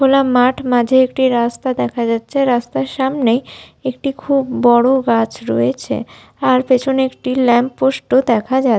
খোলা মাঠ মাঝে একটি রাস্তা দেখা যাচ্ছে রাস্তার সামনেই একটি খুব বড় গাছ রয়েছে আর পেছনে একটি ল্যাম্প পোস্ট ও দেখা যা --